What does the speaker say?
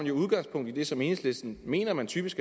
jo udgangspunkt i det som enhedslisten mener man typisk